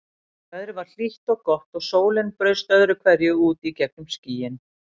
Veðrið var hlýtt og gott og sólin braust öðru hverju út í gegnum skýin.